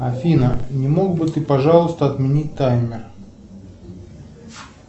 афина не мог бы ты пожалуйста отменить таймер